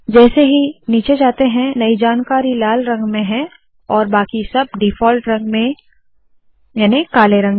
जैसे ही नीचे जाते है नई जानकारी लाल रंग में है और बाकि सब डिफॉल्ट रंग में जो है काले रंग में